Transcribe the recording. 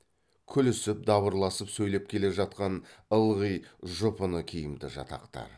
күлісіп дабырласып сөйлеп келе жатқан ылғи жұпыны киімді жатақтар